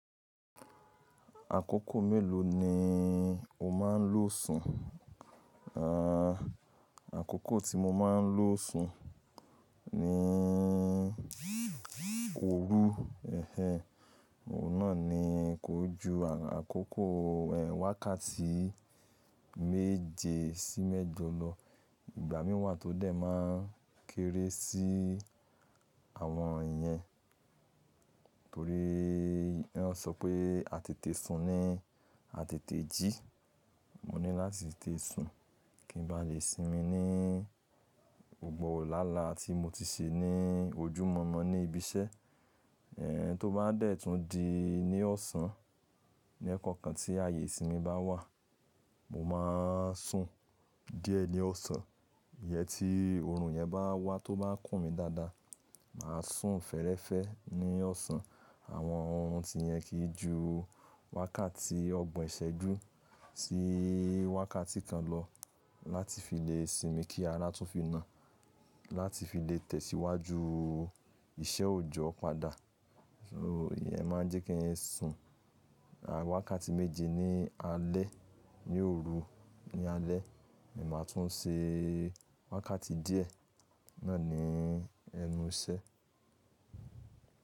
Àkókò mélòó ni o máa ń lo sùn? Àà, àkókò tí mo máa ń lo sùn ni òru. Ẹ̀hẹ̀n, òun náà ni kó ju àkókò, ẹ́ wákàtí méje sí mẹ́jọ lọ. Ìgbà mìíràn wa tó dẹ̀ máa ń kéré sí àwọn ìyẹn. Torí wọn sọ pé á tètè sun ni á tètè jí. Mo ní láti tètè sùn kí ń bá lè sinmi ní gbògbò làálàá tí mo ti ṣe ní ojú mọ́mo ní ibi iṣẹ́. Ẹ̀hẹ̀n tó bá dẹ̀ tún di ní ọ̀sán, ní ekookan tí ààyè ìsinmi bá wà, mo máa ń sùn díẹ̀ ní ọ̀sán. Iyẹn tí òòrùn yẹn bá wá tó bá kùn mí dáadáa, màá sùn fẹ́ẹ́rẹ́fẹ́ ní ọ̀sán. Àwọn orun tí yẹn kì í ju wákàtí ọgbọ̀n ìṣẹ́jú sí wákàtí kan lọ láti fi lè sinmi kí ara tún fi na, láti fi lè tẹ̀síwájú iṣẹ́ òòjọ́ padà. So ìyẹn máa ń jẹ́ kí n sùn. Àà, wákàtí méje ní alẹ́, ní òru ní alẹ́, èmi máa tún ṣe wákàtí díẹ̀ náà ni ẹnu iṣẹ́.